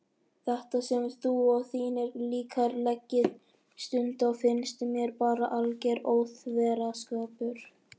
Þetta sem þú og þínir líkar leggið stund á finnst mér bara alger óþverraskapur.